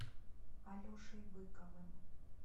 алешей быковым